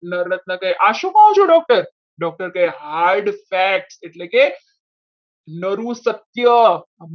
નવરત્ન કઈ આ શું કહો છો doctor કહે hard fat એટલે ક નરુ સત્ય